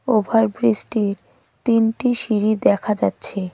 ওভারব্রীজটির তিনটি সিঁড়ি দেখা যাচ্ছে.